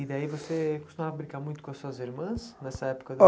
E daí você costumava brincar muito com as suas irmãs nessa época?